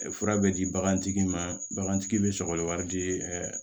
Fura bɛ di bagantigi ma bagantigi bɛ sɔgɔli wari di